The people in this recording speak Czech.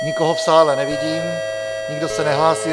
Nikoho v sále nevidím, nikdo se nehlásí.